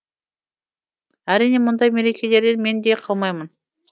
әрине мұндай мерекелерден мен де қалмаймын